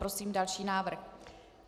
Prosím další návrh.